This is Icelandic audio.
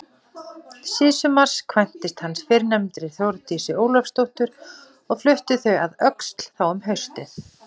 Síðsumars kvæntist hann fyrrnefndri Þórdísi Ólafsdóttur og fluttust þau að Öxl þá um haustið.